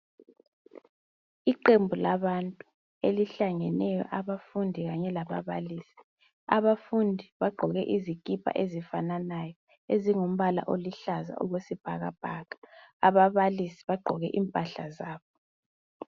Iqembu labantu elihlangeneyo abafundi kanye lababalisi bafundi bagqoke izikipa ezifananayo ezingumbala oluhlaza okwesibhakabhaka ababalisi bagqoke imphahla zabo.